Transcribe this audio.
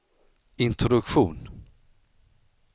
introduktion